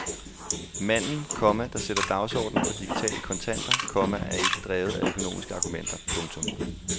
Manden, komma der sætter dagsordnen for digitale kontanter, komma er ikke drevet af økonomiske argumenter. punktum